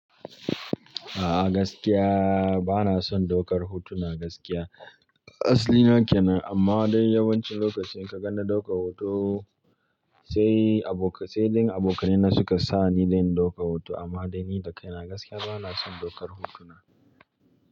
A'a gaskiya bana son ɗaukar hotuna gaskiya. Aslina kenan amma dai yawancin lokaci kaga na ɗauka hoto sai abokan, sai dai abokaina ne suka sa ni dan in ɗauka hoto amma dai ni dakaina gaskiya bana son ɗaukar hotuna.